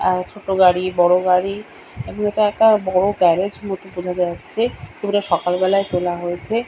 আর ছোট গাড়ি বড় গাড়ি এদিকে একটা বড় গ্যারেজ মত বোঝা যাচ্ছে ছবিটা সকাল বেলায় তোলা হয়েছে।